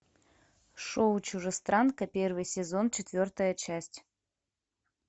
шоу чужестранка первый сезон четвертая часть